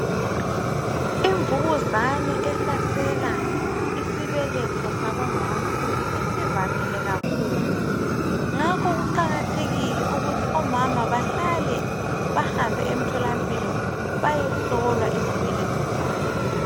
Imvukuzane ehlasela isibeletho sabomama isivamile kakhulu ngakho kuqakathekile ukuthi omama bahlale bahambe emtholampilo bayehlolwa izibeletho zabo.